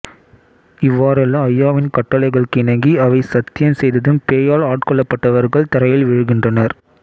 இவ்வாறௌ அய்யாவின் கட்டளைகளுக்கிணங்கி அவை சத்தியம் செய்ததும் பேயால் ஆட்கொள்ளப்பட்டவர்கள் தரையில் விழுகின்றனர்